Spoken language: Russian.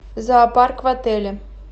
зоопарк в отеле